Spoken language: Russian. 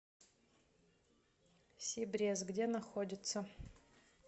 сибрез где находится